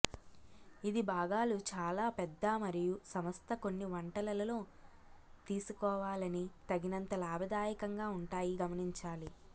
ఇది భాగాలు చాలా పెద్ద మరియు సంస్థ కొన్ని వంటలలో తీసుకోవాలని తగినంత లాభదాయకంగా ఉంటాయి గమనించాలి